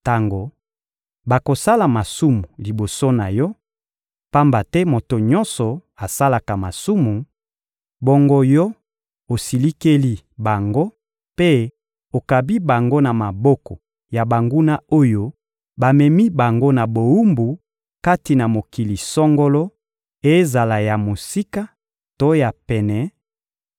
Tango bakosala masumu liboso na Yo, pamba te moto nyonso asalaka masumu, bongo Yo osilikeli bango mpe okabi bango na maboko ya banguna oyo bamemi bango na bowumbu kati na mokili songolo, ezala ya mosika to ya pene,